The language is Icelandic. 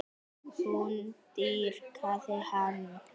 Hún dýrkaði hann.